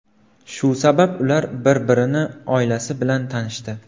Shu sabab, ular bir-birini oilasi bilan tanishdi.